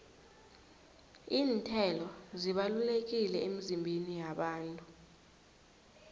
iinthelo zibalulekile emizimbeni yabantu